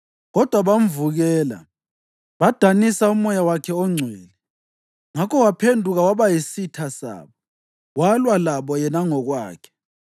Kodwa bamvukela badanisa uMoya wakhe oNgcwele. Ngakho waphenduka waba yisitha sabo walwa labo yena ngokwakhe.